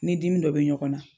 Ni dimi dɔ bɛ ɲɔgɔn na.